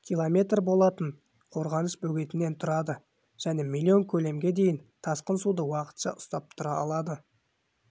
км болатын қорғаныш бөгетінен тұрады және млн көлемге дейін тасқын суды уақытша ұстап тұра алады